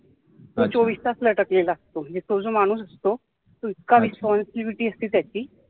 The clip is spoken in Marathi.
तो चोवीस तास लटकलेला असतो म्हणजे तो माणूस असतो तो इतका Responsibility असते त्याची